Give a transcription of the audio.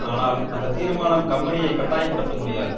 ஆனால் அந்த தீர்மானம் கம்பெனியை கட்டாய படுத்த முடியாது